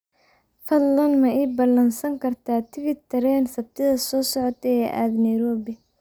fadlan ma ii ballansan kartaa tigidh tareen sabtida soo socota ee aad nairobi